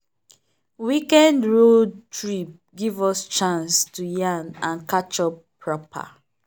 weekend road trip give us chance to yarn and catch up proper.